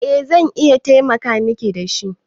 Eh zan iya taimaka Miki da shi.